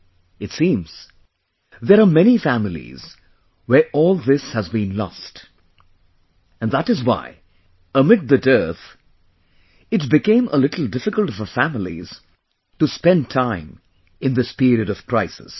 ' It seems, there are many families where all this has been lost...and that is why amid the dearth, it became a little difficult for families to spend time in this period of crisis